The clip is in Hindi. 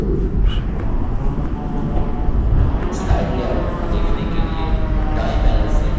slide लेआउट देखने के लिए दाएँ panel से layouts पर click करें